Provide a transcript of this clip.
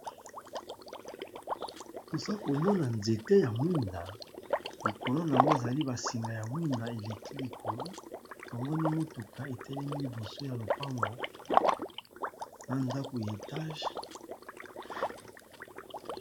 Tozo komona nzete ya mwinda likolo nango ezali basinga ya mwinda eleki likolo tomoni mutuka etelemi liboso ya lopango nandako ya etage